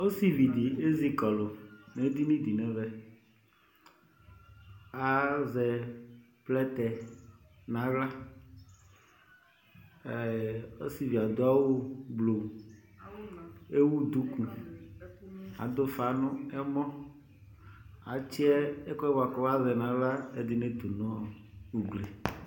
Osivi di ezikɔlu nedini di nɛvɛAazɛ plɛtɛ naɣlaƐɛɛ ɔsivie adʋ awu gbluƐwu duku, adʋ ufa nʋ ɛmɔAtsi ɛkuɛ buakʋ azɛnaɣla ɛdini tu nʋ ugli